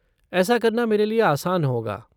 ऐसा करना मेरे लिए आसान होगा।